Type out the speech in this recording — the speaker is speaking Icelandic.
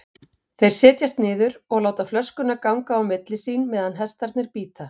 Þeir setjast niður og láta flösku ganga á milli sín meðan hestarnir bíta.